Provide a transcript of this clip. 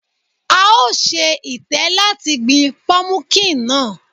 A ò ṣe itẹ́ láti gbin pọmukíǹ náà.